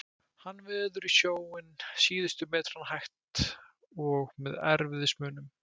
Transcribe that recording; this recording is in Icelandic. Hann veður snjóinn síðustu metrana, hægt, og með erfiðismunum.